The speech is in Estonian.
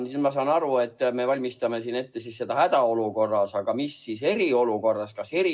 Ja nüüd ma saan aru, et me valmistame ette hädaolukorras tegutsemist, aga mis siis eriolukorras on?